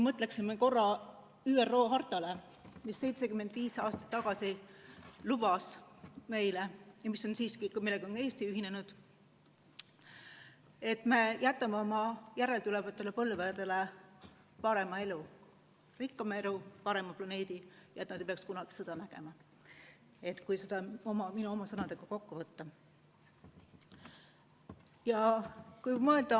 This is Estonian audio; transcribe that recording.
Mõtleme korra ÜRO hartale, millega on Eesti ühinenud ja mis 75 aastat tagasi lubas meile, et me jätame oma järeltulevatele põlvedele parema elu, rikkama elu, parema planeedi, kus nad ei pea kunagi sõda nägema – kui see minu oma sõnadega kokku võtta.